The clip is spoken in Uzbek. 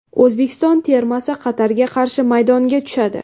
O‘zbekiston termasi Qatarga qarshi maydonga tushadi.